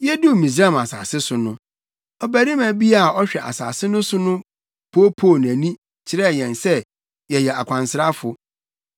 “Yeduu Misraim asase so no, ɔbarima a ɔhwɛ asase no so no poopoo nʼani, kyerɛɛ yɛn sɛ yɛyɛ akwansrafo.